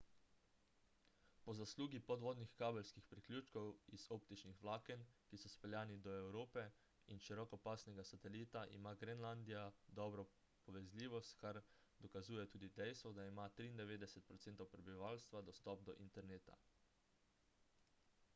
po zaslugi podvodnih kabelskih priključkov iz optičnih vlaken ki so speljani do evrope in širokopasovnega satelita ima grenlandija dobro povezljivost kar dokazuje tudi dejstvo da ima 93 % prebivalstva dostop do interneta